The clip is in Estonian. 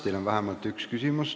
Teile on vähemalt üks küsimus.